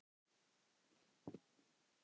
Flestir moka sandi.